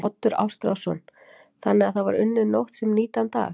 Oddur Ástráðsson: Þannig að það var unnið nótt sem nýtan dag?